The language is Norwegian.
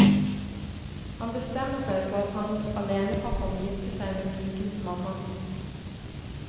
Han bestemmer seg for at hans alenepappa må gifte seg med pikens mamma.